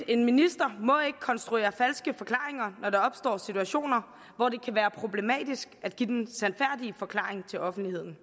en minister må ikke konstruere falske forklaringer når der opstår situationer hvor det kan være problematisk at give den sandfærdige forklaring til offentligheden